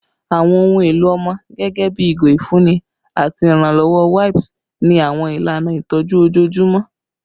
Awọn ohun elo ọmọ gẹgẹbi awọn igo ifunni ati iranlọwọ wipes ni awọn ilana itọju ojoojumọ